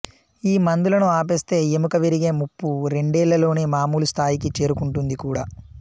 ఈ మందులను ఆపేస్తే ఎముక విరిగే ముప్పు రెండేళ్లలోనే మామూలు స్థాయికి చేరుకుంటోంది కూడా